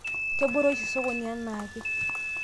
kebore oshi sokoni enaake